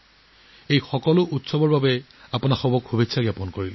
এই সকলোবোৰ উৎসৱৰ বাবে আপোনালোক সকলোকে বহুত শুভকামনা জনাইছো